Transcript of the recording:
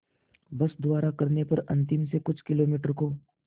बस द्वारा करने पर अंतिम से कुछ किलोमीटर को